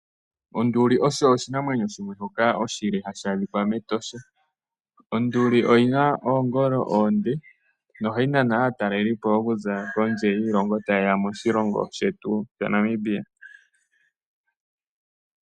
Onduli osho oshinamwenyo shoka oshile hadhi adhika mEtosha, onduli oyina oongolo oonde nohayi nana aatalelipo tayeya okutala onduli mEtosha yeshi tale.